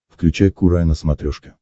включай курай на смотрешке